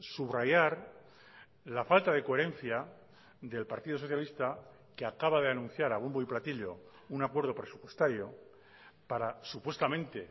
subrayar la falta de coherencia del partido socialista que acaba de anunciar a bombo y platillo un acuerdo presupuestario para supuestamente